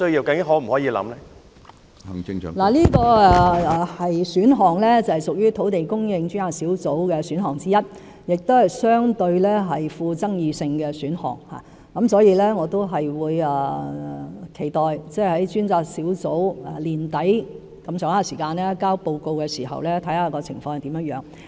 這個選項是土地供應專責小組提出的選項之一，亦相對具爭議性，所以，我期待專責小組約在年底提交報告時再審視有關的情況。